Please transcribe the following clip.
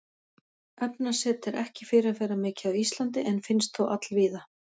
Efnaset er ekki fyrirferðamikið á Íslandi en finnst þó allvíða.